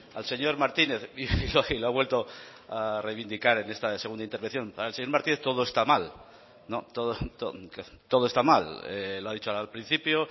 al señor martínez y lo ha vuelto a reivindicar en esta segunda intervención para el señor martínez todo está mal lo ha dicho al principio